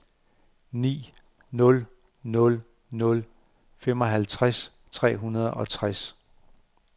ni nul nul nul femoghalvtreds tre hundrede og tres